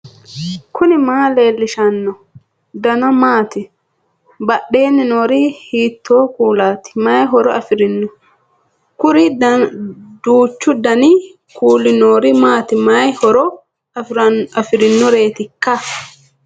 knuni maa leellishanno ? danano maati ? badheenni noori hiitto kuulaati ? mayi horo afirino ? kuri duuchu danihu kuulu noori maati mayi horo afirinoreetikka